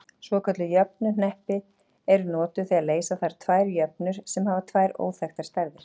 Svokölluð jöfnuhneppi eru notuð þegar leysa þarf tvær jöfnur sem hafa tvær óþekktar stærðir.